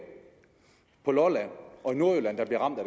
på lolland og i nordjylland der bliver ramt af